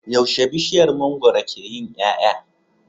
Yaushe bishiyar mangwaro ke yin yaya